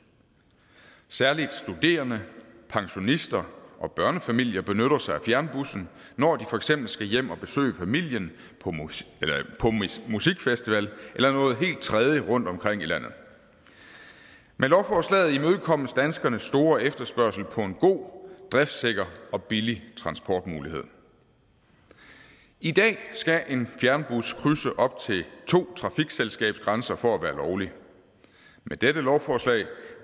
særlig studerende pensionister og børnefamilier benytter sig af fjernbussen når de for eksempel skal hjem at besøge familien på musikfestival eller noget helt tredje rundt omkring i landet med lovforslaget imødekommes danskernes store efterspørgsel på en god driftsikker og billig transportmulighed i dag skal en fjernbus krydse op til to trafikselskabsgrænser for at være lovlig med dette lovforslag